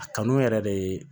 A kanu yɛrɛ de ye